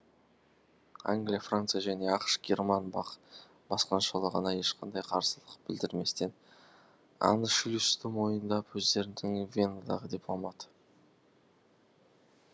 англия франция және ақш герман басқыншылығына ешқандай қарсылық білдірместен аншлюсты мойындап өздерінің венадағы дипломат